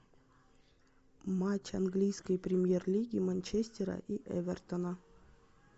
матч английской премьер лиги манчестера и эвертона